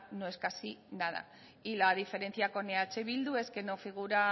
no es casi nada y la diferencia con eh bildu es que no figura